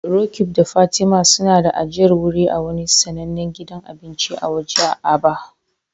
Roqeeb da Fatima suna da ajiyar wuri a wani sanannen gidan abinci na waje a Aba.